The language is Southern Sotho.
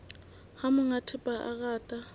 ha monga thepa a rata